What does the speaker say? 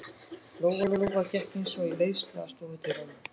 Lóa-Lóa gekk eins og í leiðslu að stofudyrunum.